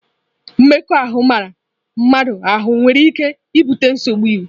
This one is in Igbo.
Mmekọahụ mara mmadụ ahụ nwere ike ibute nsogbu iwu.